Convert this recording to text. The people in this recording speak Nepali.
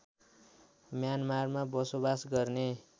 म्यानमारमा बसोबास गर्ने